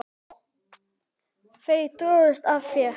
Þau drógust að þér.